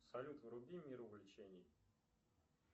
салют вруби мир увлечений